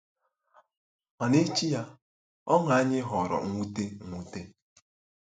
Ma n'echi ya, ọṅụ anyị ghọrọ mwute. mwute.